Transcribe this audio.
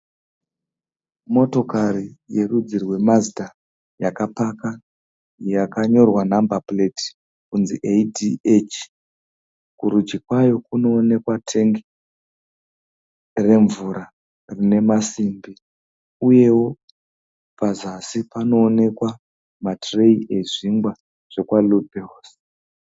Motokari yerudzi rweMazidha yakapaka yakanyorwa nhambapureti kunzi eyidhiechi. Kurudyi kwayo kunoonekwa tengi remvura rinemasimbi. Uyewo pazasi panoonekwa matireyi ezvingwa zvekwaRobheusi